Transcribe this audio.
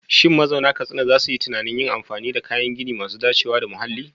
Shin mazauna Katsina za su yi tunanin yin amfani da kayan gini masu dacewa da muhalli?